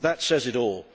That says it all.